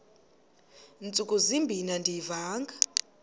ntsuku zimbin andiyivanga